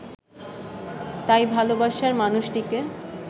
তাই ভালোবাসার মানুষটিকে